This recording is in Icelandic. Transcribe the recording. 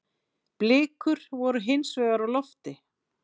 Blikur voru hinsvegar á lofti.